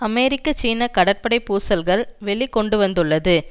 அமெரிக்க சீன கடற்படை பூசல்கள் வெளி கொண்டு வந்துள்ளது